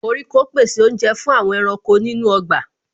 Koríko pèsè oúnjẹ fún àwọn ẹranko nínú ọgbà